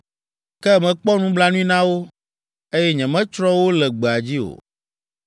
Ke mekpɔ nublanui na wo, eye nyemetsrɔ̃ wo le gbea dzi o.